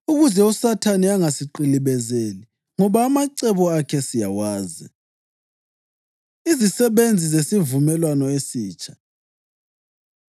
ukuze uSathane angasiqilibezeli. Ngoba amacebo akhe siyawazi. Izisebenzi Zesivumelwano Esitsha